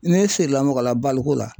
Ne siri la mɔgɔ la baleku la